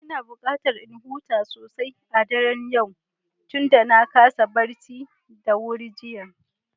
Ina buƙatar in huta sosai a daren yau tunda na kasa barci da wuri jiya.